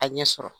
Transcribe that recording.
A ɲɛ sɔrɔ